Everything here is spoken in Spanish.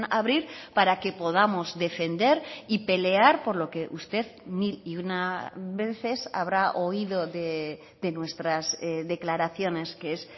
abrir para que podamos defender y pelear por lo que usted mil y una veces habrá oído de nuestras declaraciones que es